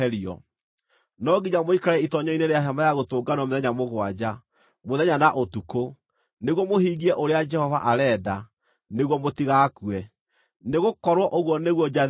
No nginya mũikare itoonyero-inĩ rĩa Hema-ya-Gũtũnganwo mĩthenya mũgwanja, mũthenya na ũtukũ, nĩguo mũhingie ũrĩa Jehova arenda, nĩguo mũtigakue; nĩgũkorwo ũguo nĩguo njathĩtwo.”